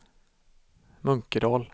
Munkedal